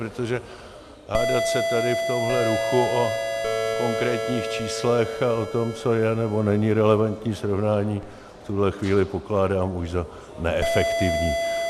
Protože hádat se tady v tomhle ruchu o konkrétních číslech a o tom, co je nebo není relevantní srovnání, v tuhle chvíli pokládám už za neefektivní.